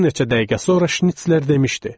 Bir neçə dəqiqə sonra Şnitsler demişdi.